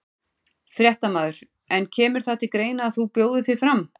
Fréttamaður: En kemur það til greina að þú bjóðir þig fram?